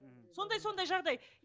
сондай сондай жағдай